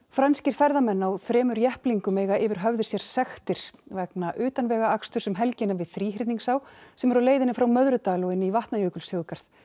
franskir ferðamenn á þremur jepplingum eiga yfir höfði sér sektir vegna utanvegaaksturs um helgina við sem er á leiðinni frá Möðrudal og inn í Vatnajökulsþjóðgarð